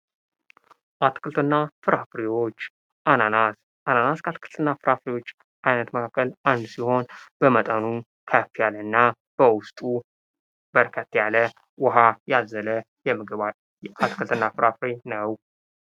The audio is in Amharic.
አትክልትና ፍራፍሬዎች ፦ አናናስ ፦ አናናስ ከአትክልትና ፍራፍሬዎች አይነት መካከል አንዱ ሲሆን በመጠኑ ከፍ ያለና በውስጡ በርከት ያለ ውሃ ያዘለ አትክልትና ፍራፍሬ ነው ።